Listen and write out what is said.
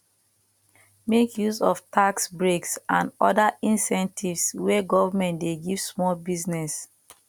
make use of tax breaks and oda incentives wey government dey give small business